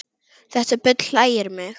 Þetta bull hlægir mig